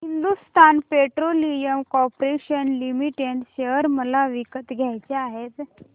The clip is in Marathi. Hindustan Petroleum Corporation Limited share मला विकत घ्यायचे आहेत